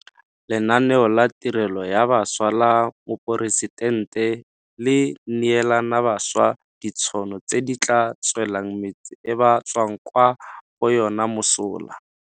Lenaneo la Tirelo ya Bašwa la Moporesitente le neelana bašwa ditšhono tse di tla tswelang metse e ba tswang kwa go yona mosola.